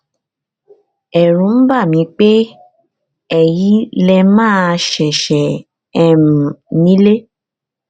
ẹrù ń bà mí pé èyí lè má ṣeéṣe um nílé